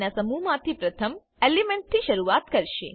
ના સમૂહ માંથી પ્રથમ એલિમેન્ટ થી શરૂઆત કરશે